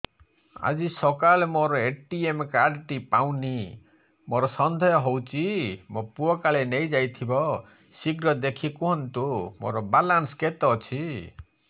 ଆଜି ସକାଳେ ମୋର ଏ.ଟି.ଏମ୍ କାର୍ଡ ଟି ପାଉନି ମୋର ସନ୍ଦେହ ହଉଚି ମୋ ପୁଅ କାଳେ ନେଇଯାଇଥିବ ଶୀଘ୍ର ଦେଖି କୁହନ୍ତୁ ମୋର ବାଲାନ୍ସ କେତେ ଅଛି